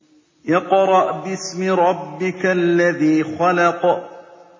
اقْرَأْ بِاسْمِ رَبِّكَ الَّذِي خَلَقَ